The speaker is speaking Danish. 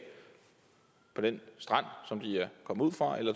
på den strand som de er kommet ud fra eller